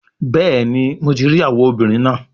Bẹẹni, Mo ti rii awọ obinrin naa